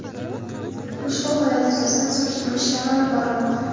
Ushbu holat yuzasidan surishtiruv ishlari olib borilmoqda.